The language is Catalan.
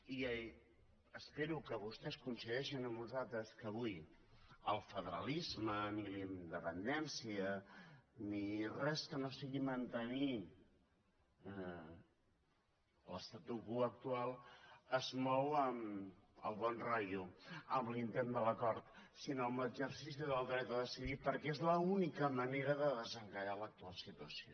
i espero que vostès coincideixin amb nosaltres que avui ni el federalisme ni la independència ni res que no sigui mantenir l’statu quo actual es mou amb el bon rotllo amb l’intent de l’acord sinó amb l’exercici del dret a decidir perquè és l’única manera de desencallar l’actual situació